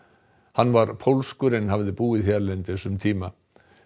hann var pólskur en hafði búið hérlendis um tíma